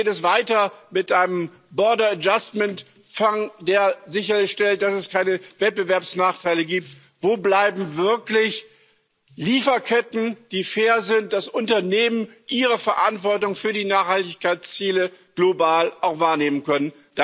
Wie geht es weiter mit einem der sicherstellt, dass es keine Wettbewerbsnachteile gibt? Wo bleiben wirkliche Lieferketten, die so fair sind, dass Unternehmen ihre Verantwortung für die Nachhaltigkeitsziele global auch wahrnehmen können?